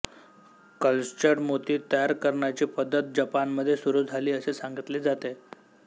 cultured मोती तयार करण्याची पद्धत जपानमध्ये सुरू झाली असे सांगितले जाते